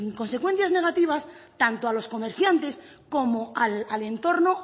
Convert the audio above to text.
consecuencias negativas tanto a los comerciantes como al entorno